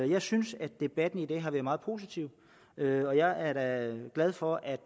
jeg synes at debatten i dag har været meget positiv og jeg er da glad for at